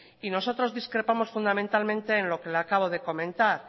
nosotros discrepamos fundamentalmente en lo que le acabo de comentar